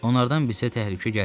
Onlardan bizə təhlükə gəlməz.